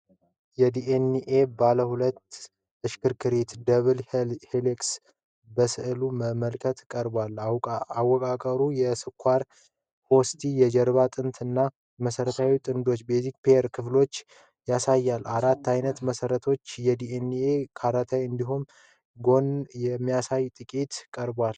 የዲ ኤን ኤ ባለሁለት ሽክርክሪት (double helix) በስዕላዊ መልክ ቀርቧል። አወቃቀሩ የ"ስኳር-ፎስፌት የጀርባ አጥንት" እና "የመሠረት ጥንዶች" (base pairs) ክፍሎችን ያሳያል። አራት ዓይነት መሠረቶች አዴኒን ከታይሚን፣ እንዲሁም ጓኒን ከሳይቶሲን ጋር በጥምረት ቀርበዋል።